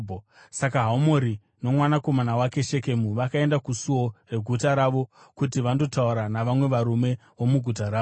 Saka Hamori nomwanakomana wake Shekemu vakaenda kusuo reguta ravo kuti vandotaura navamwe varume vomuguta ravo.